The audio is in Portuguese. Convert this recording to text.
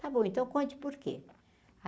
Tá bom, então conte por quê?